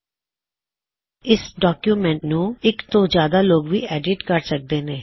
ਇਕ ਤੋਂ ਜਿਆਦਾ ਲੋਗ ਵੀ ਇਸ ਡੌਕਯੁਮੈੱਨਟ ਨੂੰ ਐੱਡਿਟ ਕਰ ਸਕਦੇ ਨੇ